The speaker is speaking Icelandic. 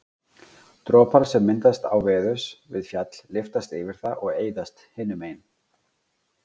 dropar sem myndast áveðurs við fjall lyftast yfir það og eyðast hinu megin